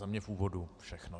Za mě v úvodu všechno.